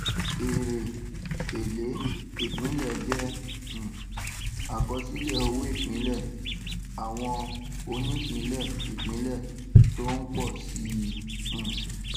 èrè èlé ìpínlẹ jẹ um àkọsílẹ owóìpínlẹ àwọn onípínlẹìpínlẹ tó ń pọ sí i um